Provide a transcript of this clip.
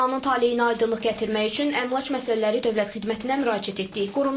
Binanın taleyinə aydınlıq gətirmək üçün əmlak məsələləri dövlət xidmətinə müraciət etdik.